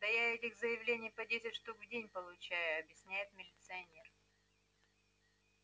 да я этих заявлений по десять штук в день получаю объясняет милиционер